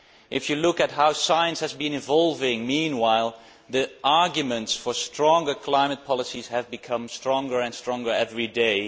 If you look at how science has been evolving meanwhile, the arguments for stronger climate policies have become stronger and stronger every day.